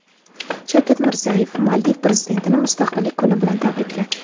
Shavkat Mirziyoyev Maldiv prezidentini Mustaqillik kuni bilan tabrikladi.